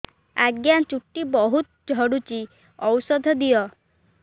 ଆଜ୍ଞା ଚୁଟି ବହୁତ୍ ଝଡୁଚି ଔଷଧ ଦିଅ